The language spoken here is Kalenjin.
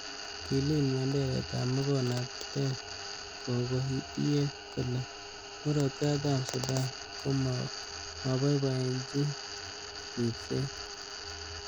Kilil menderetab makornatet, kogo tiyet kole Murot Katam Sudan komoboiboenyin ribset.